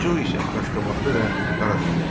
Co isə qaşqabaqlı və qaradınməz idi.